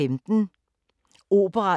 Radio24syv